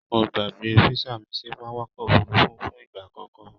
Mo gbàgbé físà mi sí pápákọ̀ òfurufú fún ìgbà àkọ́kọ́